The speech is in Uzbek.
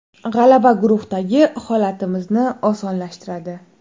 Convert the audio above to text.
G‘alaba guruhdagi holatimizni osonlashtiradi.